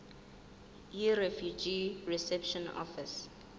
yirefugee reception office